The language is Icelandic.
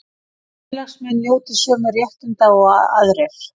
Félagsmenn njóti sömu réttinda og aðrir